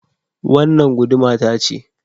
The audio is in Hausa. Wannan guduma ta ce